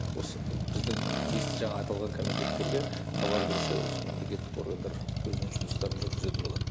осы біздің тиісті жаңағы аталған комитеттерге хабар берсе осы мемлекеттік органдар өзінің жұмыстарын жүргізетін болады